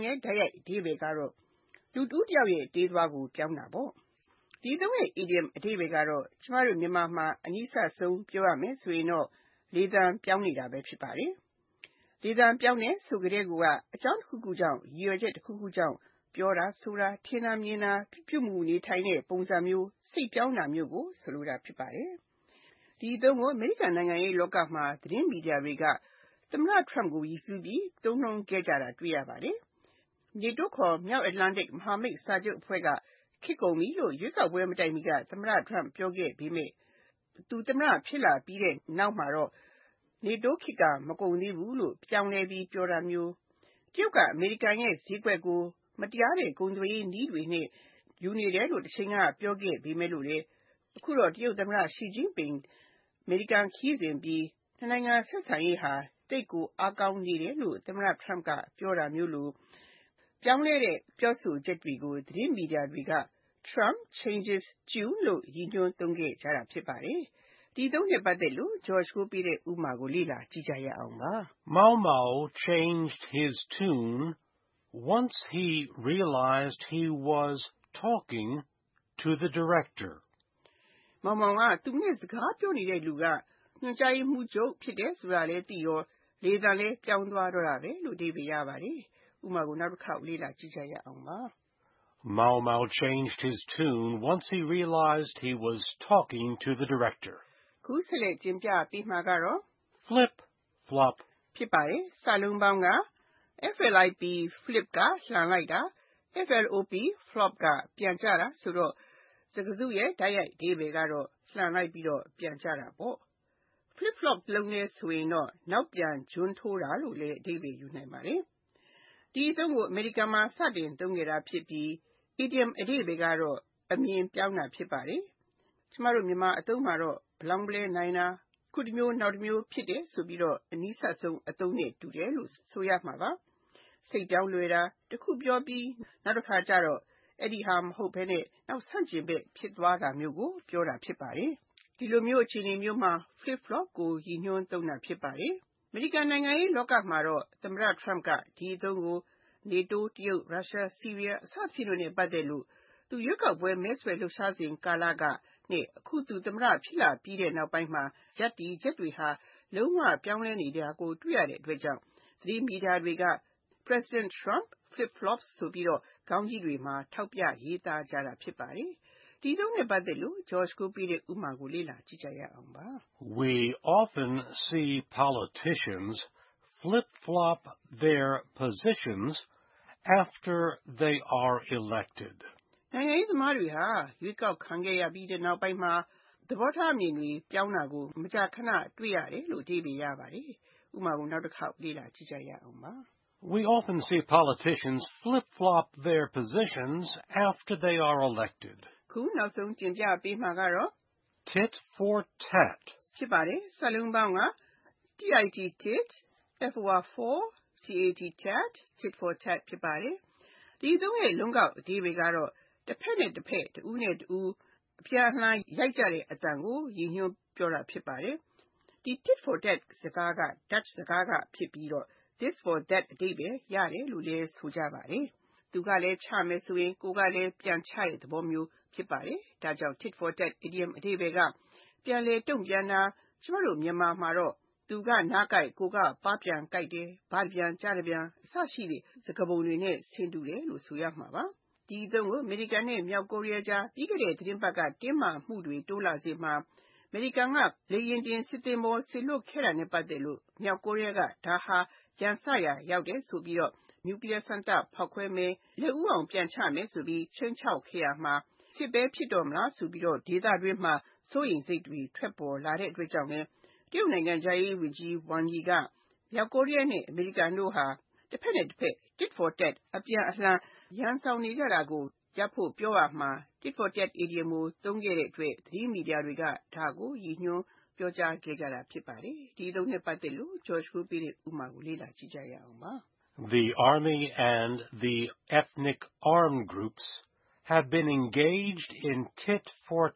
ရဲ့ တိုက်ရိုက်အဓိပ္ပါယ်က လူတဦးတယောက်ရဲ့ တေးသွားကို ပြောင်းတာ ဖြစ်ပါတယ်။ ဒီအသုံးရဲ့ အီဒီယံအဓိပ္ပါယ်က မြန်မာမှာ အနီးစပ်ဆုံး ကလေသံပြောင်းတဲ့သဘောဖြစ်ပါတယ်။ လေသံပြောင်းတယ်ဆိုကတည်းက အကြောင်းတခုခုကြောင့် ၊ ရည်ရွယ်ချက်တခုခုကြောင့်၊ ပြောတာဆိုတာ၊ ထင်တာမြင်တာ၊ ပြုမှုနေထိုင်တဲ့ ပုံစံမျိုး၊ စိတ်ပြောင်းတာမျိုးကို ဆိုလိုတာ ဖြစ်ပါတယ်။ ဒီအသုံးကို အမေရိကန်နိုင်ငံရေးလောကမှာ သတင်းမီဒီယာတွေက သမ္မတ Trump ကို ရည်စူးပြီး သုံးခဲ့ကြတာ တွေ့ရပါတယ်။ NATO ခေါ် မြောက်အတ္တလန်တိတ် မဟာမိတ်အဖွဲ့က ခေတ်ကုန်ပြီလို့ ရွေးကောက်ပွဲမတိုင်မီက သမ္မတ Trump ပြောခဲ့ပေမယ့် သူ သမ္မတ ဖြစ်လာပြီးတဲ့နောက်မှာတော့ NATO ခေတ်က မကုန်သေးဘူးလို့ ပြောင်းလဲပြီး ပြောတာမျိုး၊ တရုတ်က အမေရိကန်ရဲ့ ဈေးကွက်ကို မတရားတဲ့ ကုန်သွယ်ရေးနည်းတွေနဲ့ ယူနေတယ်လို့ တချိန်က ပြောခဲ့ပေမယ့်လို့ တရုတ်သမ္မတ ရှီကျင့်ပင် (Xi Jinping) အမေရိကန်ခရီးစဉ်အပြီး နှစ်နိုင်ငံ ဆက်ဆံရေးဟာ သိပ်ကိုအားကောင်းနေတယ်လို့ သမ္မတ Trump က ပြောတာမျိုးလို ပြောင်းလဲတဲ့ ပြောဆိုချက်တွေကို သတင်းမီဒီယာတွေက Trump Changes Tune လို့ ရည်ညွှန်းသုံးခဲ့ကြတာ ဖြစ်ပါတယ်။ ဒီအသုံးအနှုန်း ရဲ့ဥပမာကို လေ့လာကြည့်ရအောင်ပါ။ Maung Maung changed his tune when he realized he was talking to the Director. မောင်မောင်က သူနဲ့ စကားပြောနေတဲ့လူက ညွှန်ကြားရေးမှူးချုပ် ဖြစ်တယ်ဆိုတာလည်းသိရော လေသံလဲ ပြောင်းသွားတော့တာဘဲ။ (၂) Flip flop Flip (လှန်လိုက်တာ)၊ flop (ပြန်ကျလာတာ) ဖြစ်ပြီး စကားစုတခုလုံးရဲ့ တိုက်ရိုက်အဓိပ္ပါယ်က လှန်လိုက်ပြီးတော့ ပြန်ကျတာ ဖြစ်ပါတယ်။ Flip flop ကို နောက်ပြန်ဂျွမ်းထိုးတာလို့လည်း အဓိပ္ပါယ်ယူနိုင်ပါတယ်။ ဒီအသုံးကို အမေရိကန်မှာ စတင်သုံးခဲ့တာဖြစ်ပြီး အီဒီယံအဓိပ္ပါယ်ကတော့ အမြင်ပြောင်းတာ ဖြစ်ပါတယ်။ မြန်မာအသုံးမှာတော့ ဗလောင်းဗလဲနိုင်တာ၊ အခုတမျိုး နောက်တမျိုး ဖြစ်တယ်ဆိုပြီးတော့ အနီးစပ်ဆုံးအသုံးနဲ့ တူတယ်လို့ ဆိုရမှာပါ။ စိတ်ပြောင်းလွယ်တာ၊ တခုပြောပြီး နောက်တခါကြတော့ အဲဒါမဟုတ်တော့ဘဲ နောက်ဆန့်ကျင်ဘက် ဖြစ်သွားတာမျိုးကို ဆိုလိုတာဖြစ်ပါတယ်။ ဒီလိုမျိုး အခြေအနေမျိုးမှာ Flip flop ကို ရည်ညွှန်းသုံးတာ ဖြစ်ပါတယ်။ အမေရိကန်နိုင်ငံရေးလောကမှာတော့ သမ္မတ Trump က ဒီအသုံးကို NATO ၊ တရုတ်၊ ရုရှား၊ ဆီးရီးယား စသဖြင့်နဲ့ ပတ်သက်လို့ သူ ရွေးကောက်ပွဲ မဲဆွယ်လှုပ်ရှားစဉ်ကာလကနဲ့ အခု သမ္မတ ဖြစ်လာပြီးနောက်ပိုင်းမှာ ရပ်တည်ချက်တွေဟာ ပြောင်းလဲနေတာကို တွေ့ရတဲ့အတွက်ကြောင့် သတင်းမီဒီယာတွေက President Trump flip flops ဆိုပြီး ခေါင်းကြီးတွေမှာ ထောက်ပြရေးသားကြတာ ဖြစ်ပါတယ်။ ဒီအသုံးအနှုန်း ရဲ့ဥပမာကို လေ့လာကြည့်ရအောင်ပါ။ We often see politicians flip flop their positions after they were elected. နိုင်ငံရေးသမားတွေဟာ ရွေးကောက်ခံရပြီးတဲ့နောက်ပိုင်းမှာ ရပ်တည်ချက်တွေ ပြောင်းကြတာကို မကြာခဏ တွေ့ရတယ်။ (၃) Tit for tat Tit for tat စကားစုတခုလုံးရဲ့ တိုက်ရိုက်အဓိပ္ပါယ်က တဘက်နဲ့တဘက်၊ တဦးနဲ့တဦး အပြန်အလှန် ရိုက်ကြတဲ့အသံကို ရည်ညွှန်းပြောတာ ဖြစ်ပါတယ်။ ဒီ Tit for tat စကားက Dutch စကားက ဖြစ်ပြီးတော့ This for that အဓိပ္ပါယ် ရတယ်လို့ လည်း ဆိုပါတယ်။ တနည်း Blow for blow စကားလို၊ သူကလာချရင်၊ ကိုယ်ကလည်း ပြန်ချမယ်ဆိုတဲ့ သဘောမျိုး ဖြစ်ပါတယ်။ ဒါကြောင့် Tit for tat အီဒီယံအဓိပ္ပါယ်က လက်တုံ့ပြန်တာ၊ မြန်မာမှာတော့ သူက နားကိုက်၊ ကိုယ်က ပါးပြန်ကိုက်တာ၊ ဘတပြန် ကျားတပြန် အစရှိတဲ့ စကားပုံတွေနဲ့ ဆင်တူတယ်လို့ ဆိုရမှာပါ။ ဒီအသုံးကို အမေရိကန် နဲ့ မြောက်ကိုရီးယားကြား ပြီးခဲ့တဲ့ သတင်းပတ်က တင်းမာမှုတွေ တိုးလာစဉ်မှာ အမေရိကန်က လေယာဉ်တင် စစ်သင်္ဘောကြီး စေလွှတ်ခဲ့တာနဲ့ ပတ်သက်လို့ မြောက်ကိုရီးယားက ဒါဟာ ရန်စရာရောက်တယ်ဆိုပြီးတော့ နျူကလီးယား စမ်းသပ်ဖောက်ခွဲမယ်၊ လက်ဦးအောင် ပြန်ချမယ်ဆိုပြီး ခြိမ်းခြောက်ခဲ့ရာမှာ စစ်ပဲဖြစ်တော့မလားဆိုပြီး ဒေသတွင်းမှာ စိုးရိမ်စိတ်တွေ ထွက်ပေါ်လာတဲ့အတွက်ကြောင့်လည်း တရုတ်နိုင်ငံခြားရေးဝန်ကြီး ဝမ်ရီ (Wang Yi) က မြောက်ကိုရီးယား နဲ့ အမေရိကန်တို့ဟာ တဘက်နဲ့တဘက် Tit for tat အပြန်အလှန် ရန်စောင်နေကြတာကို ရပ်ဖို့ပြောရာမှာ Tit for tat အီဒီယံကို သုံးခဲ့တဲ့အတွက် သတင်းမီဒီယာတွေက ဒါကို ကိုးကားဖေါ်ပြခဲ့ကြတာ ဖြစ်ပါတယ်။ ဒီအသုံးအနှုန်း ရဲ့ဥပမာကို လေ့လာကြည့်ရအောင်ပါ။ The army and the ethnic armed groups should not be engaged in tit for